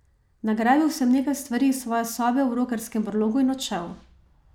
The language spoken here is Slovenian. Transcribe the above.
Nagrabil sem nekaj stvari iz svoje sobe v Rokerskem brlogu in odšel.